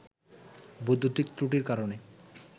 বৈদ্যুতিক ত্রুটির কারণে